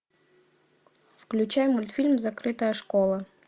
включай мультфильм закрытая школа